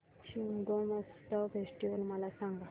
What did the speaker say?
Shigmotsav festival मला सांग